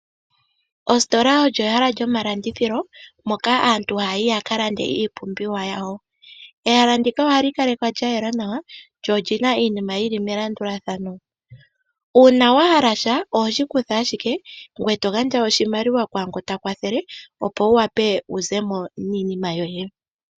Oositola olyo ehala lyomalandithilo moka aantu haya yi ya ka lande iipumbiwa yawo . Ehala ndika ohali kalekwa lya yela nawa lyo olyina iinima yili melandulathano. Uuna wa hala sha ohoshi kutha ashike ngweye to gandja oshimaliwa kwaangoka ta kwathele opo wu wape wu zemo niinima yoye.